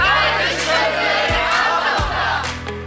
Qayıdış könüllüləri Ağdamda!